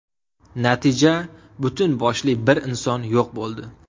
Natija butun boshli bir inson yo‘q bo‘ldi.